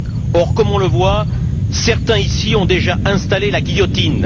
Or, comme on le voit, certains ici ont déjà installé la guillotine.